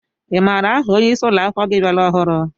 I maara aha ónyé ịsị ụlọakwụkwọ gị bịara ọhụrụ?